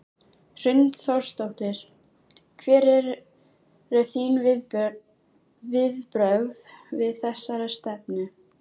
Hrund Þórsdóttir: Hver eru þín viðbrögð við þessari stefnu?